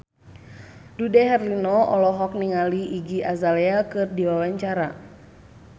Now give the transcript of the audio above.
Dude Herlino olohok ningali Iggy Azalea keur diwawancara